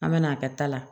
An me n'a kɛ ta la